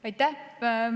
Aitäh!